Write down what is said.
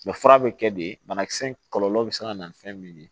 Mɛ fura bɛ kɛ de banakisɛ in kɔlɔlɔ bɛ se ka na nin fɛn min ye